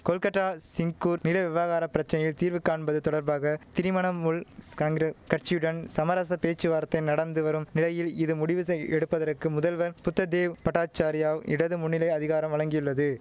கொல்கட்டா சிங்கூர் நில விவகார பிரச்சனையில் தீர்வு காண்பது தொடர்பாக திரிமணமுல் ஸ்காங்கிர கட்சியுடன் சமரச பேச்சுவார்த்தை நடந்து வரும் நிலையில் இது முடிவு செய் எடுப்பதற்கு முதல்வர் புத்ததேவ் பட்டாசாரியாவ் இடது முன்னணி அதிகாரம் வழங்கியுள்ளது